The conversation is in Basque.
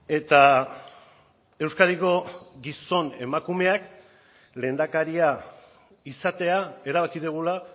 eta euskadiko gizon emakumeak lehendakaria izatea erabaki dugula